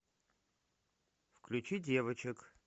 включи девочек